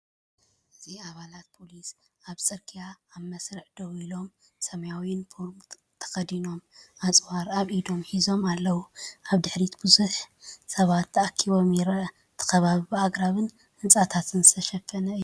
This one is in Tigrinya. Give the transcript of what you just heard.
እዚ ኣባላት ፖሊስ ኣብ ጽርግያ ኣብ መስርዕ ደው ኢሎም፡ ሰማያዊ ዩኒፎርም ተኸዲኖም፡ ኣጽዋር ኣብ ኢዶም ሒዞም ኣለዉ። ኣብ ድሕሪት ብዙሕ ህዝቢ ተኣኪቡ ይርአ፡ እቲ ከባቢ ብኣግራብን ህንጻታትን ዝተሸፈነ'ዩ።